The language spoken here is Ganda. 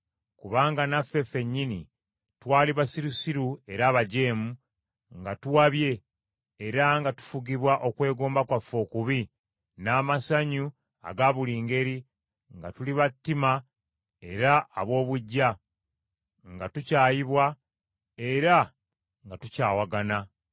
Kubanga naffe ffennyini twali basirusiru era abajeemu, nga tuwabye, era nga tufugibwa okwegomba kwaffe okubi, n’amasanyu aga buli ngeri, nga tuli ba ttima era ab’obuggya, nga tukyayibwa era nga tukyawagana.